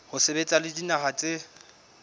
ho sebetsa le dinaha tse